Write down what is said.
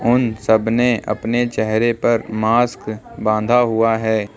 उन सब ने अपने चेहरे पर मास्क बांधा हुआ है।